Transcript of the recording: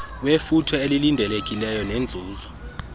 wefuthe elilindelekileyo nenzuzo